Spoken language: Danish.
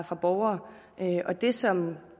fra borgere og det som